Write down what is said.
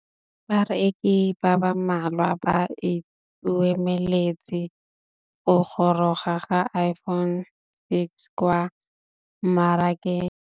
Bareki ba ba malwa ba ituemeletse go gôrôga ga Iphone6 kwa mmarakeng.